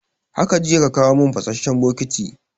Haka jiya ka kawo mun fasasshen bokati